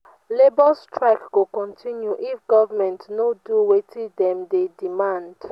labour strike go continue if government no do wetin dem dey demand.